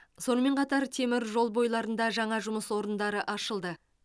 сонымен қатар темір жол бойларында жаңа жұмыс орындары ашылды